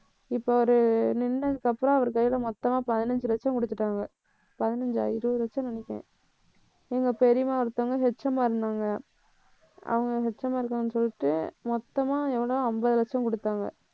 இப்ப அவரு நின்னதுக்கு அப்புறம் அவர் கையில மொத்தமா பதினஞ்சு லட்சம் கொடுத்துட்டாங்க. பதினஞ்சா இருபது லட்சம்னு நினைக்கிறேன் எங்க பெரியம்மா ஒருத்தவங்க HM ஆ இருந்தாங்க அவங்க HM ஆ இருக்காங்கன்னு சொல்லிட்டு மொத்தமா எவளோ அம்பது லட்சம் குடுத்தாங்க